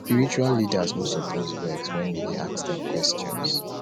spiritual leaders no suppose vex wen we dey ask dem questions